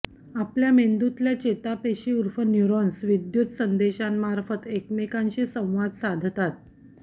आपल्या मेंदूतल्या चेतापेशी ऊर्फ न्यूरॉन्स विद्युत संदेशांमार्फत एकमेकींशी संवाद साधतात